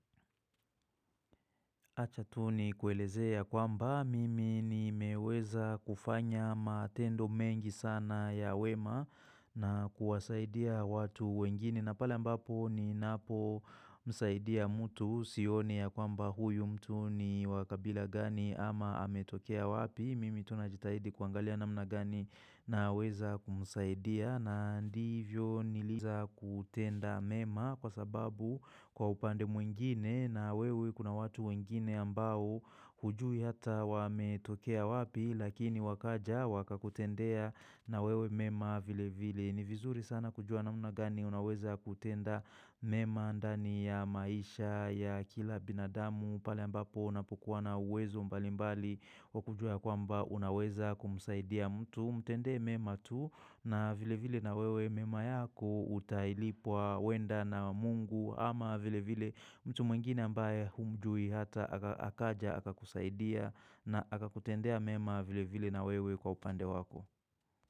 Achatuni kuelezea kwamba mimi ni meweza kufanya matendo mengi sana ya wema na kuwasaidia watu wengine na pala mbapo ni napo msaidia mtu sioni ya kwamba huyu mtu ni wakabila gani ama ametokea wapi. Mimi tunajitahidi kuangalia namna gani na weza kumusaidia na ndivyo niliza kutenda mema kwa sababu kwa upande mwingine na wewe kuna watu wengine ambao hujui hata wame tokea wapi lakini wakaja waka kutendea na wewe mema vile vile. Ni vizuri sana kujua na muna gani unaweza kutenda mema ndani ya maisha, ya kila binadamu, pale ambapo unapokuwa na uwezo mbali mbali kwa kujua ya kwamba unaweza kumusaidia mtu, mtende mema tu na vile vile na wewe mema yako utailipwa wenda na mungu ama vile vile mtu mwingine ambaye humjui hata akaja akakusaidia na akakutendea mema vile vile na wewe kwa upande wako.